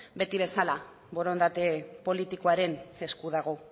beti bezala borondate politikoaren esku dago